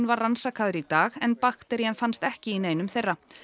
var rannsakaður í dag en bakterían fannst ekki í neinum þeirra